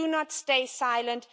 So do not stay silent.